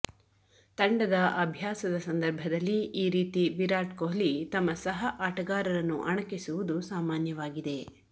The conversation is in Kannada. ತಂಡದ ಅಭ್ಯಾಸದ ಸಂದರ್ಭದಲ್ಲಿ ಈ ರೀತಿ ವಿರಾಟ್ ಕೊಹ್ಲಿ ತಮ್ಮ ಸಹ ಆಟಗಾರರನ್ನು ಅಣಕಿಸುವುದು ಸಾಮಾನ್ಯವಾಗಿದೆ